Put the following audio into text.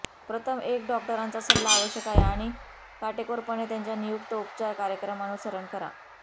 प्रथम एक डॉक्टरांचा सल्ला आवश्यक आहे आणि काटेकोरपणे त्यांच्या नियुक्त उपचार कार्यक्रम अनुसरण करा